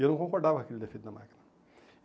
E eu não concordava com aquele defeito na máquina.